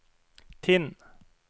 Tinn